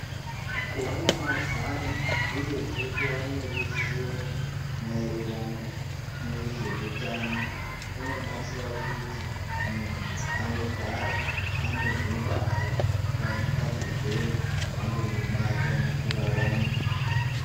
Kuva namazano uyezve kuva neruzivo maererano nezvehutano. Kunobatsira kuti muntu anogara ane hungwaru pazvirwere zvingangomubata mukurarama.